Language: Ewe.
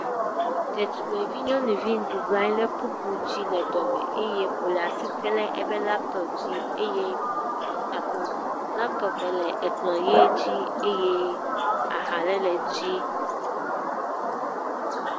Detugbivi nyɔnuvi bublɔ anyi le kpukpo dzile dɔme eye wòle as item le eƒe laptopi dzi eye ah laptopie le ekplɔ̃ ʋe dzi eye aha ale le edzi.